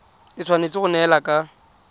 e tshwanetse go neelana ka